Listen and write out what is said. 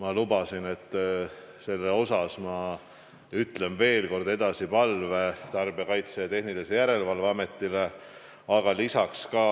Ma lubasin, et ütlen veel kord edasi palve Tarbijakaitse ja Tehnilise Järelevalve Ametile, aga ka